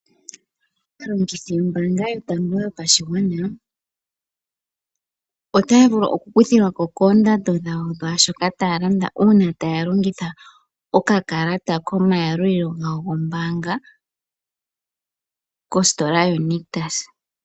Aalongithi yombaanga yotango yopashigwana . Otaya vulu oku kuthilwako koondando dhawo dhaashoka taya landa uuna taya longitha oka kalata koma yalulilo gawo goombaanga mositola yo Nictus.